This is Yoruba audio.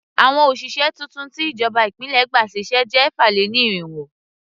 Àwọn òṣìṣẹ́ tuntun tí ìjọba ìpínlẹ̀ gbà sí iṣẹ́ jẹ́ ẹ̀fà-lé-ní-irínwó.